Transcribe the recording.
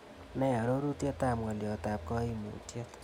Ne arorutietap ng'oliotap kaiimutiet